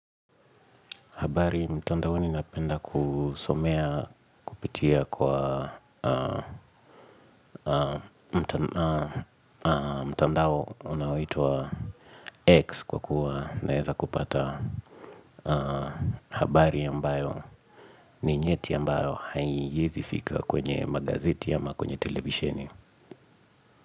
Habari mtandaoni napenda kusomea kupitia kwa mtandao unaoitwa X kwa kuwa naweza kupata habari ambayo ni nyeti ambayo haiingizi fikra kwenye magazeti ama kwenye televisheni.